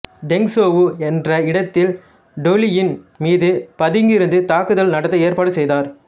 டெங்சோவு என்ற இடத்தில் டொலுயின் மீது பதுங்கியிருந்து தாக்குதல் நடத்த ஏற்பாடு செய்தார்